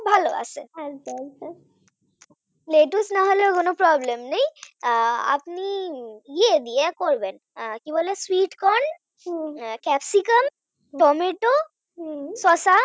ভালো আছে, লেটুস না হলেও কোন problem নেই আহ আপনি ইয়ে দিয়ে করবেন কি বলে sweet corn হম ক্যাপসিকাম টমেটো শসা